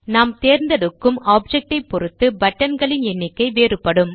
நாம் தேர்ந்தெடுக்கும் ஆப்ஜெக்ட் ஐப் பொருத்து பட்டன் களின் எண்ணிக்கை வேறுபடும்